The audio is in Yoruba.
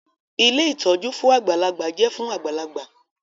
Ilé ìtọ́jú fún àgbàlagbà jẹ́ fún àgbàlagbà